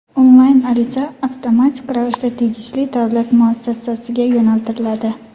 Onlayn ariza avtomatik ravishda tegishli davlat muassasasiga yo‘naltiriladi.